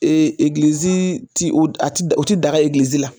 E egilizi ti o a ti o ti daga egilizi la.